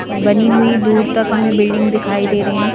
बनी हुई दूर तक हमें बिल्डिंग दिखाई दे रही है ।